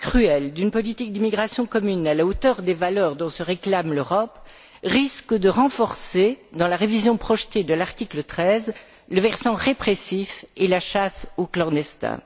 L'absence cruelle d'une politique d'immigration commune, à la hauteur des valeurs dont se réclame l'Europe, risque de renforcer, dans la révision projetée de l'article 13, le versant répressif et la chasse aux clandestins.